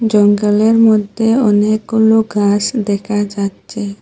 জঙ্গলের মধ্যে অনেকগুলো গাস দেখা যাচ্ছে।